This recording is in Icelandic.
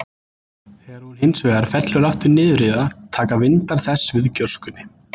Þegar hún, hins vegar, fellur aftur niður í það, taka vindar þess við gjóskunni.